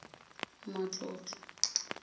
matlotlo